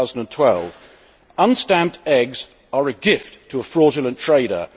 2012. Unstamped eggs are a gift to a fraudulent trader.